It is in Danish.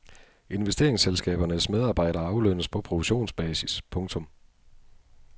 Investeringsselskabernes medarbejdere aflønnes på provisionsbasis. punktum